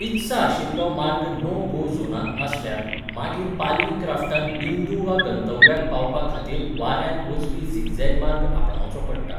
इत्सा आशिल्लो मार्ग नो गो झोनांत आसल्यार, मागीर पालवी क्राफ्टान बिंदू वा गंतव्याक पावपाखातीर वाऱ्यांत वचपी झिग झेग मार्ग आपणावचो पडटा.